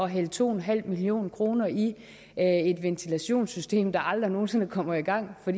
hælde to en halv million kroner i et ventilationssystem der aldrig nogen sinde kommer i gang for